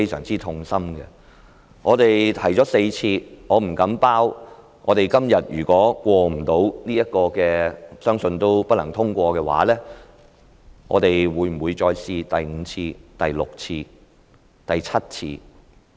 這議案我們已提出4次，如果今天這議案不獲通過——相信也不會獲得通過——我不能保證我們會不會再嘗試第五次、第六次、第七次。